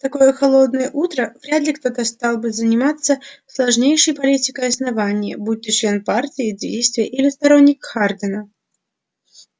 в такое холодное утро вряд ли кто-то стал бы заниматься сложнейшей политикой основания будь то член партии действия или сторонник хардина